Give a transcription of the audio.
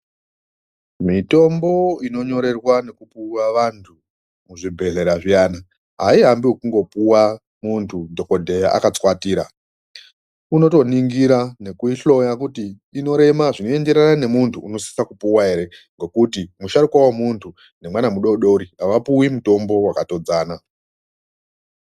Mitombo inonyorerwa nekupuwa vantu muzvibhedhlera zviyani, aiambi ekungopuwa muntu dhokodheya akatswatira, unotoningira nekuihloya kuti inorema inoenderana memuntu unosisa kupuwa ere, ngokuti musharuka wemuntu nemwana mudodori avapuwi mutombo wakatodzana.